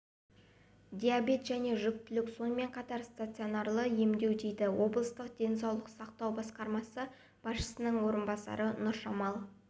диабет және жүктілік сонымен қатар стационарлы емдеу дейді облыстық денсаулық сақтау басқармасы басшысының орынбасары нұржамал